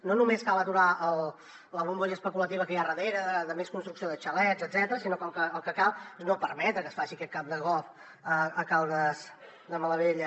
no només cal aturar la bombolla especulativa que hi ha darrere de més construcció de xalets etcètera sinó que el que cal és no permetre que es faci aquest camp de golf a caldes de malavella